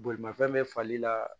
Bolimafɛn bɛ fali la